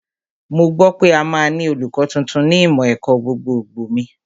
Mo gbọ́ pé a máa ní olùkọ́ tuntun ní ìmọ̀ ẹ̀kọ́ gbogbogbò mi